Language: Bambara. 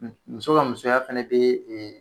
Muso ka musoya fɛnɛ ee